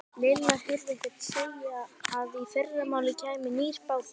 Lilla heyrði einhvern segja að í fyrramálið kæmi nýr bátur.